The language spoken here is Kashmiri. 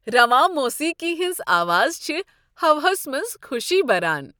رواں موٗسیٖقی ہٕنٛز آواز چھےٚ ہوہس منٛز خۄشی بران۔